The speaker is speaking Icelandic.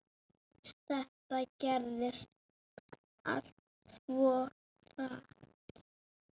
Þetta gerðist allt svo hratt.